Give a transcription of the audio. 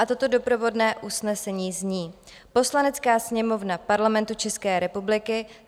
A toto doprovodné usnesení zní: "Poslanecká sněmovna Parlamentu České republiky